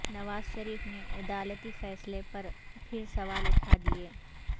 نواز شریف نے عدالتی فیصلے پر پھر سوال اٹھا دئیے